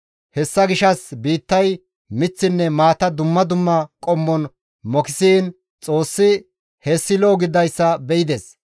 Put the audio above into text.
Hessa gishshas biittay miththinne maata dumma dumma qommon mokisiin Xoossi hessi lo7o gididayssa be7ides.